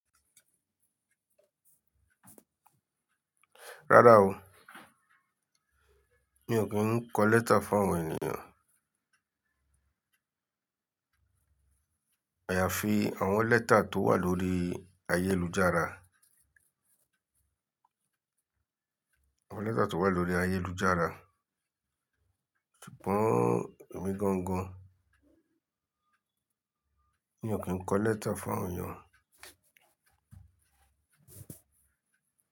Rárá o, mi ò kí ń kọ lẹ́tà fún àwọn ènìyàn. Àyàfi àwọn lẹ́tà tó wà lórí ayélujára. Àwọn lẹ́tà tó wà lórí ayélujára. Ṣùgbọ́n èmi gangan, mi ò kí ń kọ lẹ́tà fún àwọn èyàn.